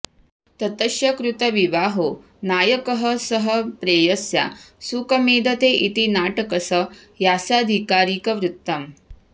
ततश्च कृतविवाहो नायकः सह प्रेयस्या सुखमेधते इति नाटकस्यास्याधिकारिकवृत्तम्